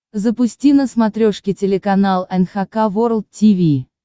запусти на смотрешке телеканал эн эйч кей волд ти ви